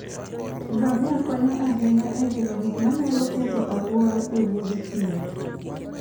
Ngamia konyo ahinya e geng'o gik manyalo ketho alwora e Wuoth thim.